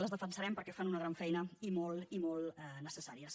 les defensarem perquè fan una gran feina i molt i molt necessària